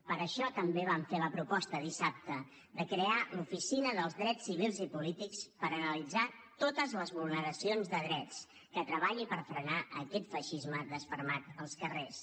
per això també vam fer la proposta dissabte de crear l’oficina dels drets civils i polítics per analitzar totes les vulneracions de drets que treballi per frenar aquest feixisme desfermat als carrers